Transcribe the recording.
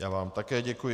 Já vám také děkuji.